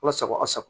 Walasa k'a sago